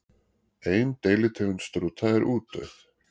Ein deilitegund strúta er útdauð.